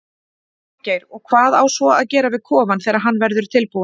Þorgeir: Og hvað á svo að gera við kofann þegar hann verður tilbúinn?